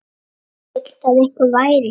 Vildi að einhver væri hér.